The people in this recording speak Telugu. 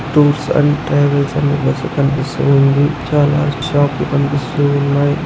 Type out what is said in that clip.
టూర్స్ అండ్ ట్రావెలర్స్ అనే బస్సు కనిపిస్తూ ఉంది. చాలా షాప్లు కనిపిస్తూ ఉన్నాయ్.